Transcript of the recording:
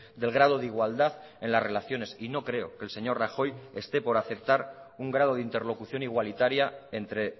del grado de igualdad en las relaciones y no creo que el señor rajoy esté por aceptar un grado de interlocución igualitaria entre